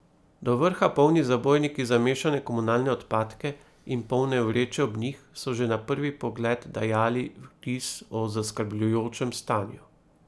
Do vrha polni zabojniki za mešane komunalne odpadke in polne vreče ob njih so že na prvi pogled dajali vtis o zaskrbljujočem stanju.